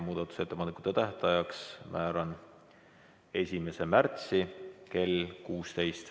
Muudatusettepanekute esitamise tähtajaks määran 1. märtsi kell 16.